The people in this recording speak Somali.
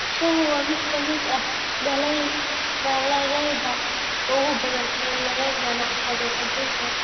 Shaahu waa mid ka mid ah dalagyada ugu badan ee laga ganacsado adduunka.